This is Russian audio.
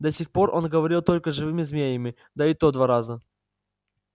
до сих пор он говорил только с живыми змеями да и то два раза